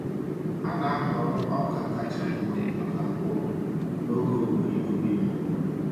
A na-ahọrọ ọka kacha mma maka mkpụrụ n’oge owuwe ihe ubi mbụ.